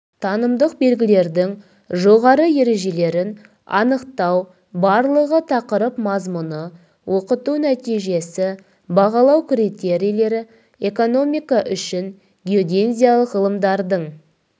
танымдық белгідердің жоғары ережелерін анықтау барлығы тақырып мазмұны оқыту нәтижесі бағалау критерийлері экономика үшін геодезиялық ғылымдардың